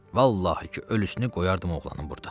Vallahi ki, ölüsünü qoyardım oğlanın burda.